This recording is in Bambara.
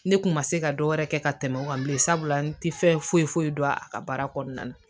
Ne kun ma se ka dɔ wɛrɛ kɛ ka tɛmɛ o kan bilen sabula n tɛ fɛn foyi foyi don a ka baara kɔnɔna na